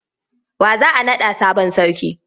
Wa za a naɗa sabon sarki?